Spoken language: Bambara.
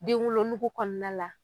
Denwolonugu kɔnɔna la